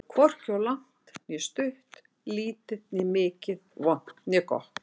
Hvorki of langt né stutt, lítið né mikið, vont né gott.